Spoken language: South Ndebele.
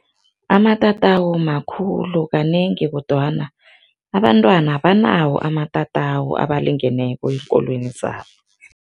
Amatatawu makhulu kanengi kodwana abantwana abanawo amatatawu abalingeneko eenkolweni zabo.